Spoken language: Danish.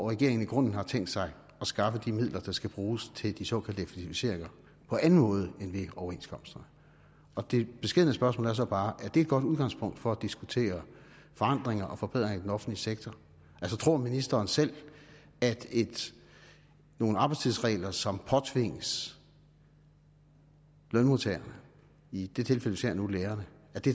regeringen i grunden har tænkt sig at skaffe de midler der skal bruges til de såkaldte effektiviseringer på anden måde end ved overenskomsterne det beskedne spørgsmål er så bare er det et godt udgangspunkt for at diskutere forandringer og forbedringer i den offentlige sektor altså tror ministeren selv at nogle arbejdstidsregler som påtvinges lønmodtagerne i det tilfælde vi ser nu lærerne